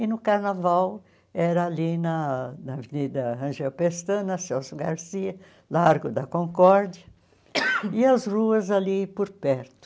E, no carnaval, era ali na na Avenida Rangel Pestana, Celso Garcia, Largo da Concórdia, e as ruas ali por perto.